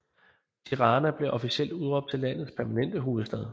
Tirana blev officielt udråbt til landets permanente hovedstad